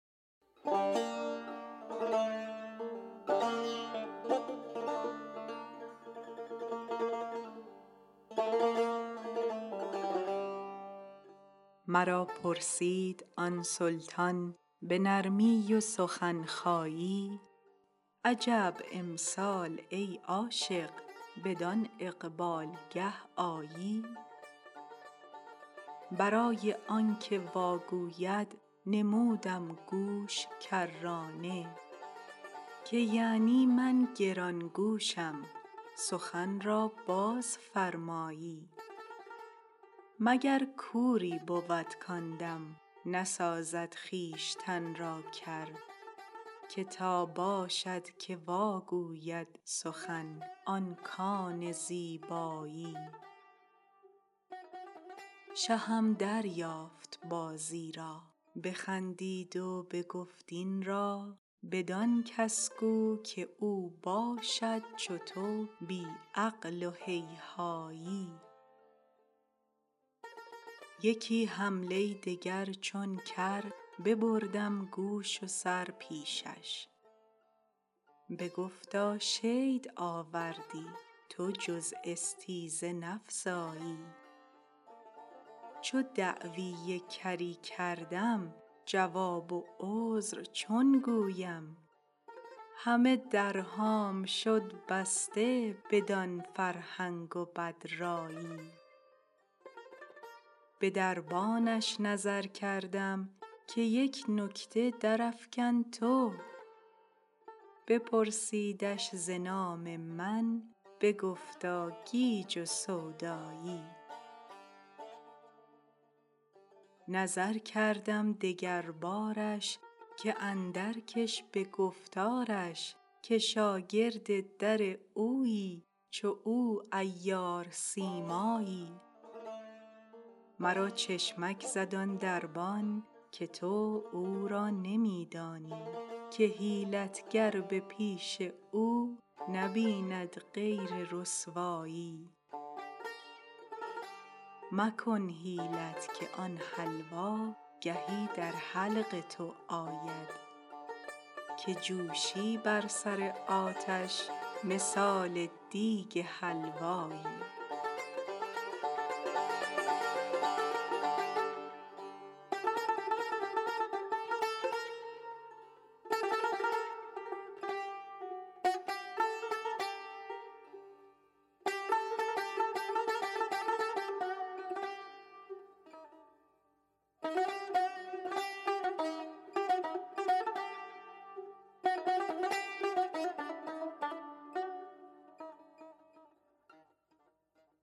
مرا پرسید آن سلطان به نرمی و سخن خایی عجب امسال ای عاشق بدان اقبالگه آیی برای آنک واگوید نمودم گوش کرانه که یعنی من گران گوشم سخن را بازفرمایی مگر کوری بود کان دم نسازد خویشتن را کر که تا باشدکه واگوید سخن آن کان زیبایی شهم دریافت بازی را بخندید و بگفت این را بدان کس گو که او باشد چو تو بی عقل و هیهایی یکی حمله دگر چون کر ببردم گوش و سر پیشش بگفتا شید آوردی تو جز استیزه نفزایی چو دعوی کری کردم جواب و عذر چون گویم همه درهام شد بسته بدان فرهنگ و بدرایی به دربانش نظر کردم که یک نکته درافکن تو بپرسیدش ز نام من بگفتا گیج و سودایی نظر کردم دگربارش که اندر کش به گفتارش که شاگرد در اویی چو او عیار سیمایی مرا چشمک زد آن دربان که تو او را نمی دانی که حیلت گر به پیش او نبیند غیر رسوایی مکن حیلت که آن حلوا گهی در حلق تو آید که جوشی بر سر آتش مثال دیگ حلوایی